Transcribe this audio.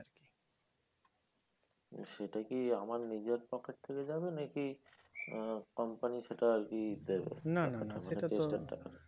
সেটা কি আমার নিজের pocket থেকে যাবে নাকি আহ company সেটা ইয়ে দেবে